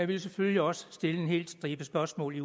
vil selvfølgelig også stille en hel stribe spørgsmål i